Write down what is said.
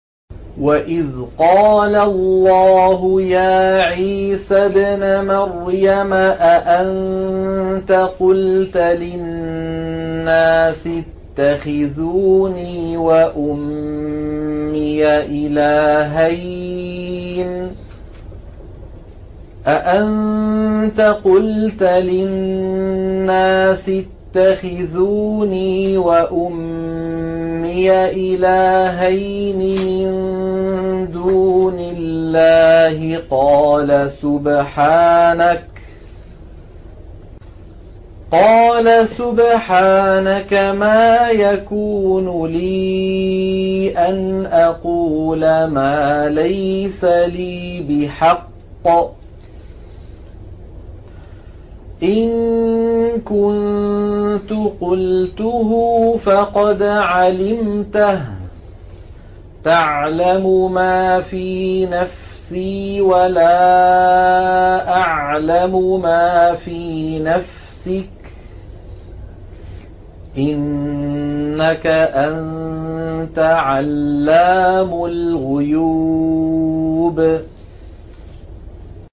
وَإِذْ قَالَ اللَّهُ يَا عِيسَى ابْنَ مَرْيَمَ أَأَنتَ قُلْتَ لِلنَّاسِ اتَّخِذُونِي وَأُمِّيَ إِلَٰهَيْنِ مِن دُونِ اللَّهِ ۖ قَالَ سُبْحَانَكَ مَا يَكُونُ لِي أَنْ أَقُولَ مَا لَيْسَ لِي بِحَقٍّ ۚ إِن كُنتُ قُلْتُهُ فَقَدْ عَلِمْتَهُ ۚ تَعْلَمُ مَا فِي نَفْسِي وَلَا أَعْلَمُ مَا فِي نَفْسِكَ ۚ إِنَّكَ أَنتَ عَلَّامُ الْغُيُوبِ